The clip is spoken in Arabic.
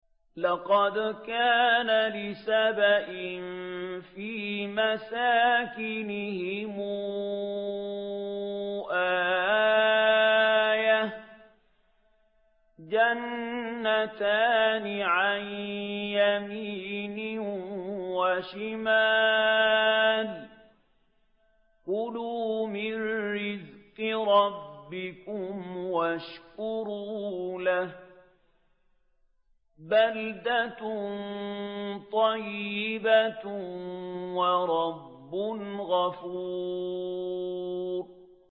لَقَدْ كَانَ لِسَبَإٍ فِي مَسْكَنِهِمْ آيَةٌ ۖ جَنَّتَانِ عَن يَمِينٍ وَشِمَالٍ ۖ كُلُوا مِن رِّزْقِ رَبِّكُمْ وَاشْكُرُوا لَهُ ۚ بَلْدَةٌ طَيِّبَةٌ وَرَبٌّ غَفُورٌ